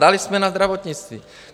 Dali jsme na zdravotnictví.